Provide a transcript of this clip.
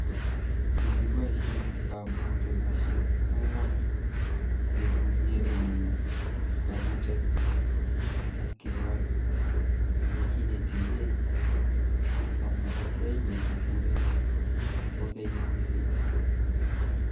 kikiboishe kabutunoshek ang'wan keguye olemi kabutet ak kewal yekinetigei," kamwa Oketch nekikuren kokeny DC.